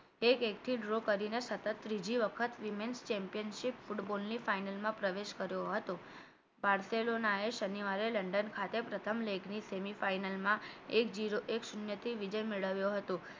એક એક થી draw કરીને સતત ત્રીજી વખત women championship ફૂટબોલ ની final માં પ્રવેશ કર્યો હતો બાર્સોલોનાએ શનિવારે લંડન ખાતે પ્રથમ લેખની semi final માં એક zero એક શૂન્ય થી વિજય મેળવ્યો હતો